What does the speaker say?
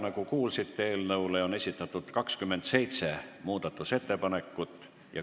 Nagu kuulsite, eelnõu kohta on esitatud 27 muudatusettepanekut.